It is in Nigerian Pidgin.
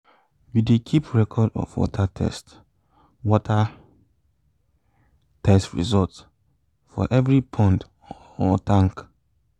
we dey keep record of water test water test result for every pond or tank